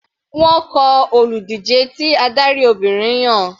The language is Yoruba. Wọ́n kọ olùdíje tí adarí Obìnrin yàn.